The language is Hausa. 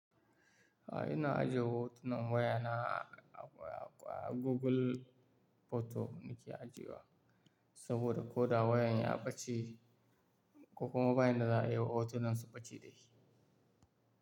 A'a ina ajiye hotunan wayana ah, ah, ah, Google Photo nike ajiye wa. Saboda ko da wayan ya ɓace, ko kuma bayin da za a yi wa hotunan su ɓace dashi.